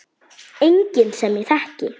Enginn sem ég þekki.